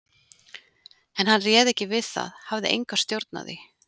En hann réð ekki við það, hafði enga stjórn á því.